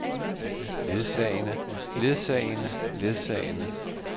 ledsagende ledsagende ledsagende